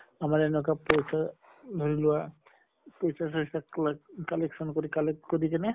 আমাৰ এনকা ধৰি লোৱা কবাত collection কৰি collect কৰি কিনে